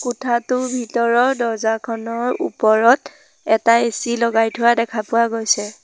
কোঠাটোৰ ভিতৰত দৰ্জা খনৰ ওপৰত এটা এ_চি লগাই থোৱা দেখা পোৱা গৈছে।